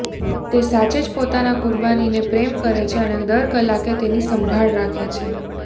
તે સાચે જ પોતાના કુરબાનીને પ્રેમ કરે છે અને દર કલાકે તેની સંભાળ રાખે છે